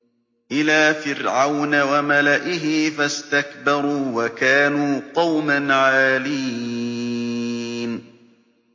إِلَىٰ فِرْعَوْنَ وَمَلَئِهِ فَاسْتَكْبَرُوا وَكَانُوا قَوْمًا عَالِينَ